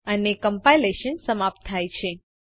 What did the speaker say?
અને કમ્પાઇલેશન સમાપ્ત થાય છે